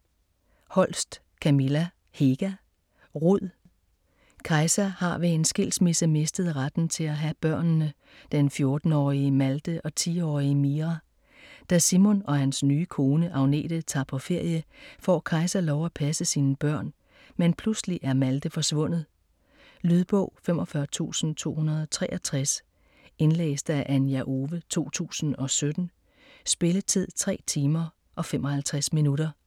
Holst, Kamilla Hega: Rud Kaisa har ved en skilsmisse mistet retten til at have børnene, den 14-årige Malte og 10-årige Mira. Da Simon og hans nye kone Agnete tager på ferie, får Kaisa lov at passe sine børn. Men pludselig er Malte forsvundet. Lydbog 45263 Indlæst af Anja Owe, 2017. Spilletid: 3 timer, 55 minutter.